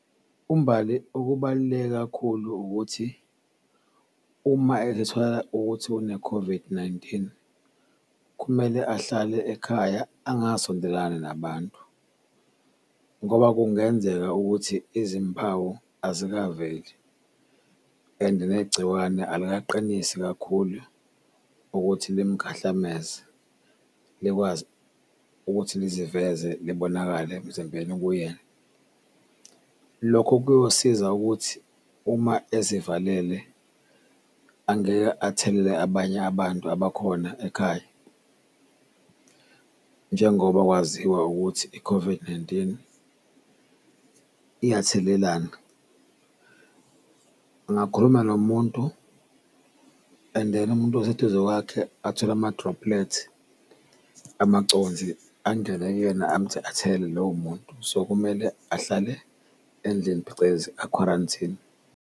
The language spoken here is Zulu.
UMbali okubaluleke kakhulu ukuthi uma ezithola ukuthi une-COVID-19, kumele ahlale ekhaya angasondelani nabantu ngoba kungenzeka ukuthi izimpawu ayikaveli and negciwane alikaqinisi kakhulu ukuthi limukahlameze likwazi ukuthi liziveze libonakale emzimbeni kuyena. Lokho kuyosiza ukuthi uma ezivalele angeke athelele abanye abantu abakhona ekhaya njengoba kwaziwa ukuthi i-COVID-19 iyathelelana. Ngakhuluma nomuntu and then umuntu oseduze kwakhe athole ama-droplet, amaconsi angene kuyena athelele lowo muntu, so kumele ahlale endlini phecelezi akhwaranthine.